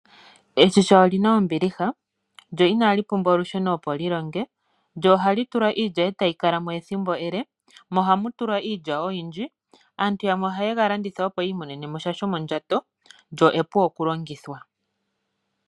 Eshina olina ombiliha, lyo inali pumbwa olusheno opo lilonge. Ohamu tulwa iilya e tayi kala mo ethimbo ele. Ohamu tulwa iilya oyindji. Aantu yamwe ohaye ga landitha opo yiimonene mo sha shomondjato, lyo epu okulongithwa.